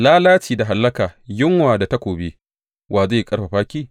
Lalaci da hallaka, yunwa da takobi, wa zai ƙarfafa ki?